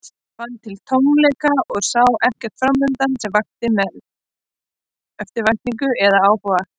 Ég fann til tómleika og sá ekkert framundan sem vakti mér eftirvæntingu eða áhuga.